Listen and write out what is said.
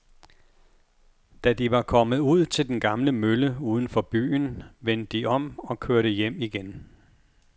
Da de var kommet ud til den gamle mølle uden for byen, vendte de om og kørte hjem igen.